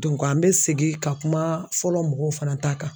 an bɛ segin ka kuma fɔlɔ mɔgɔw fana ta kan